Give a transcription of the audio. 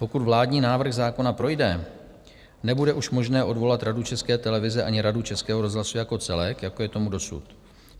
Pokud vládní návrh zákona projde, nebude už možné odvolat Radu České televize ani Radu Českého rozhlasu jako celek, jako je tomu dosud.